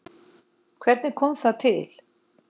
Hvernig kom það til?